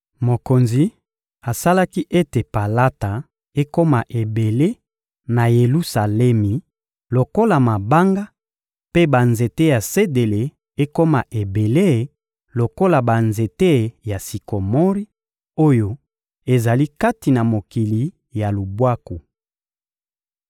Mokonzi asalaki ete palata ekoma ebele na Yelusalemi lokola mabanga, mpe banzete ya sedele ekoma ebele lokola banzete ya sikomori oyo ezali kati na mokili ya lubwaku.